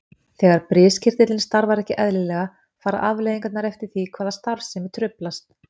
Þegar briskirtillinn starfar ekki eðlilega fara afleiðingarnar eftir því hvaða starfsemi truflast.